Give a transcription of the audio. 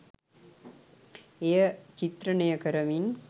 එය චිත්‍රණය කරමින්